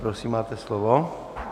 Prosím, máte slovo.